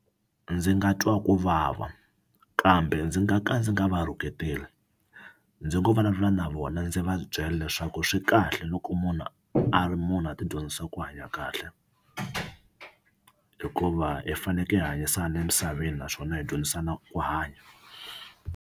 Ndzi nga twa ku vava kambe ndzi nga ka ndzi nga va rhuketeli ndzi ngo vulavula na vona ndzi va byela leswaku swi kahle loko munhu a ri munhu a ti dyondzisa ku hanya kahle hikuva hi fanekele hi hanyisana emisaveni naswona hi dyondzisana ku hanya.